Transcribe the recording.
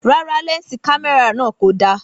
Rárá lẹnsi kámẹ́rà yan ko da